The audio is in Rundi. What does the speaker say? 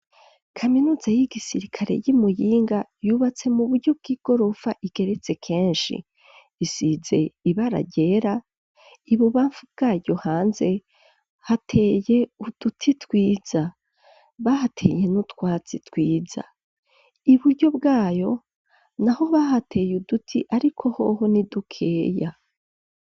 Kaminuza y'igisirikare y'imuyinga yubatse mu buryo bw'igorofa igeretse kenshi isize ibara ryera ibubamfu bwayo hanze hateye uduti twiza bahateye no twasi twiza i buryo bwayo na ho bahateye duti, ariko hoho ni dukeya.